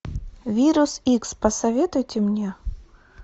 вирус икс посоветуйте мне